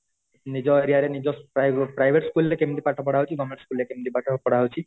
ନିଜ area ରେ ନିଜ private school ରେ କେମିତି ପାଠ ପଢା ହଉଛି government school ରେ କେମିତି ପାଠ ପଢା ହଉଛି